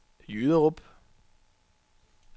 Jyderup